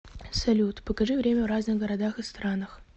салют покажи время в разных городах и странах